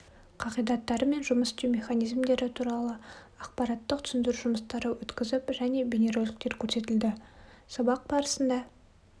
қағидаттары мен жұмыс істеу механизмдері туралы ақпараттық түсіндіру жұмыстарын өткізіп және бейнероликтер көрсетілді сабақ барысында